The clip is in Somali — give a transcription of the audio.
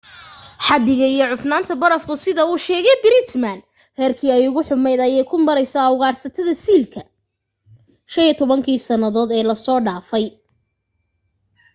xaddiga iyo cufnaanta barafku sida uu sheegay pittman heerkii ay ugu xummayd ayay ku maraysaa ugaadhsatada siilka 15 kii sannadood ee la soo dhaafay